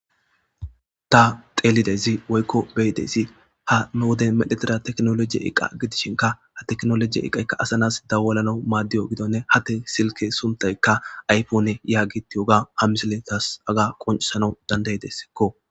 Ta teelidezi woykko beyidezi ha nu woden medhetira teknologiye iqa gidishinka ha teknolojiye iqaykka asanas dawalana maaddiyo gidonne hatte silke suntayka aypone yaagitiyoga ha misiletas aga qoncsana dandayideskko.